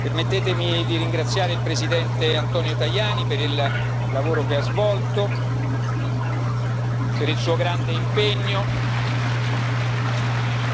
Permettetemi di ringraziare il Presidente Antonio Tajani per il lavoro che ha svolto, per il suo grande impegno, e